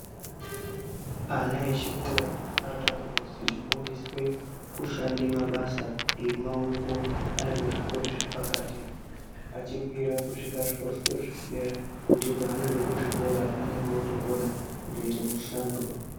Ana echikora anotanga kuzwi kufundiswe kushande mabasa emaoko aribkuzvikora zvepakati, achikwira kusvika kuzvikora zvedera ,kuti paanobve kuzvikora anonge ootokona kutoite mishando.